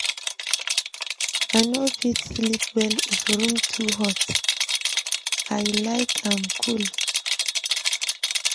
I no fit sleep well if room too hot, I like am cool.